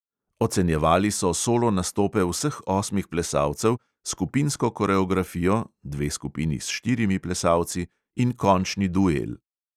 Ocenjevali so solo nastope vseh osmih plesalcev, skupinsko koreografijo (dve skupini s štirimi plesalci) in končni duel.